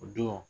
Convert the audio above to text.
O don